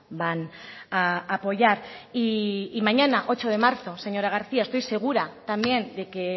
van a apoyar y mañana ocho de marzo señora garcía estoy segura también de que